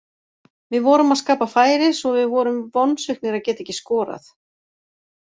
Við vorum að skapa færi svo við vorum vonsviknir að geta ekki skorað.